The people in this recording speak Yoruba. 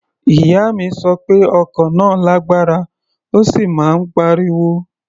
Ìyá mi sọ pé ọkọ̀ náà lágbára, ó sì máa ń pariwo.